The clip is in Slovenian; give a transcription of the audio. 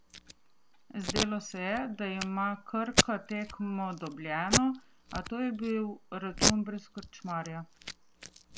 Zdelo se je, da ima Krka tekmo dobljeno, a to je bil račun brez krčmarja.